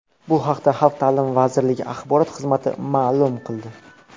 Bu haqda Xalq ta’limi vazirligi axborot xizmati ma’lum qildi .